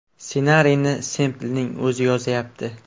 Ssenariyni Semplning o‘zi yozayapti.